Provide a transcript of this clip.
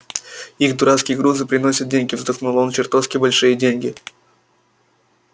их дурацкие грузы приносят деньги вздохнул он чертовски большие деньги